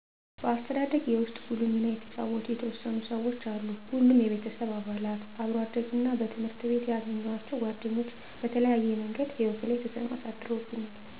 በአስተዳደጌ ውስጥ ጉልህ ሚና የተጫወቱ የተወሰኑ ሰዎች አሉ ሁሉም የቤተሰብ አባላት፣ አብሮ አደግ እና በትምህረት የገኘዋቸዉ ጓደኞች በተለያየ ምንገድ ህይወቴ ላይ ተጽዕኖ አሳድረዉብኛል።